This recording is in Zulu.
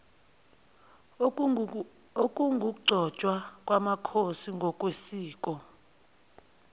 okungukugcotshwa kwamakhosi ngokwesiko